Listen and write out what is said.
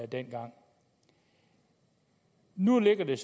dengang nu ligger det